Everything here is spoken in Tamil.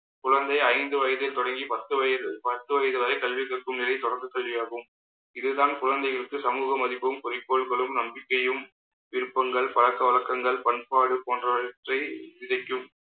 குழந்தை ஐந்து வயதில் தொடங்கி பத்து வயசு பத்து வயது வரை கல்வி கற்கும் நிலை தொடர்ந்து சரியாகும் இதுதான் குழந்தைகளுக்கு சமூக மதிப்பும் குறிக்கோள்களும், நம்பிக்கையும் விருப்பங்கள் பழக்க வழக்கங்கள் பண்பாடு போன்றவற்றை விதைக்கும்